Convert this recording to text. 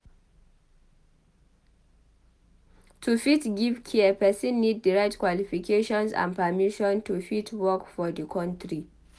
To fit give care persin need di right qualifications and permission to fit work for di country